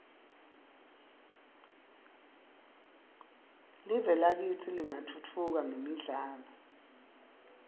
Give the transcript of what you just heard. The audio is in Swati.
live lakitsi lingatfutfuka mgemidlalo